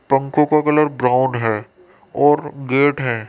पक्को का colour brown है और गेट है।